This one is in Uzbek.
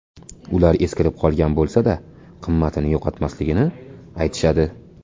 Ular eskirib qolgan bo‘lsa-da qimmatini yo‘qotmasligini aytishadi.